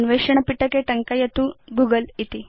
अन्वेषण पिटके टङ्कयतु गूगल इति